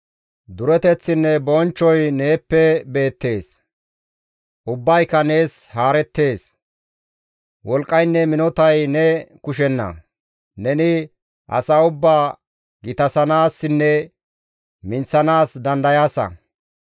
Dureteththinne bonchchoy neeppe beettees; ubbayka nees haarettees. Wolqqaynne minotay ne kushenna; neni asaa ubbaa gitasanaassinne minththanaas dandayaasa.